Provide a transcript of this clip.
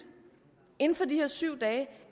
inden for de her syv dage